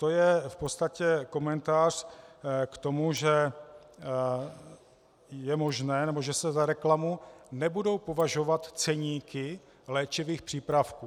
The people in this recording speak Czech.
To je v podstatě komentář k tomu, že je možné - nebo že se za reklamu nebudou považovat ceníky léčivých přípravků.